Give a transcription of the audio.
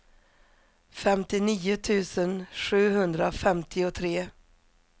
femtionio tusen sjuhundrafemtiotre